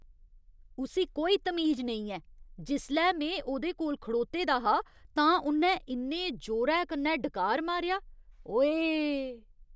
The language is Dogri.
उस्सी कोई तमीज नेईं ऐ। जिसलै में उ'दे कोल खड़ोते दा हा तां उन्नै इन्ने जोरै कन्नै डकार मारेआ, ओऐऽ।